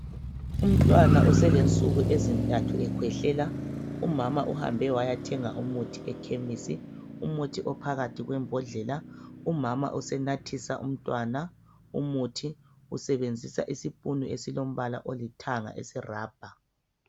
Umntwana oselensuku ezintathu ekhwehlela umama uhambe wayathenga umuthi ekhemisi, umuthi ophakathi kwembodlela umama usenathisa umntwana umuthi usebenzisa isipunu esilombala olithanga eserabha.